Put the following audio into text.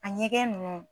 A ɲɛgɛn ninnu